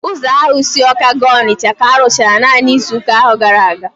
Ụzọ ahụ si Awka gaa Onitsha ka arụchara naanị izuụka gara aga